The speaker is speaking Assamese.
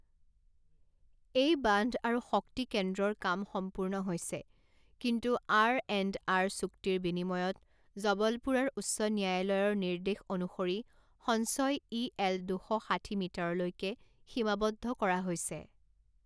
এই বান্ধ আৰু শক্তি কেন্দ্ৰৰ কাম সম্পূৰ্ণ হৈছে, কিন্তু আৰএণ্ডআৰ চুক্তিৰ বিনিময়ত জবলপুৰৰ উচ্চ ন্যায়ালয়ৰ নিৰ্দেশ অনুসৰি সঞ্চয় ইএল দুশ ষাঠি মিটাৰলৈকে সীমাৱদ্ধ কৰা হৈছে।